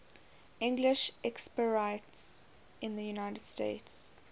english expatriates in the united states